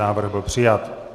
Návrh byl přijat.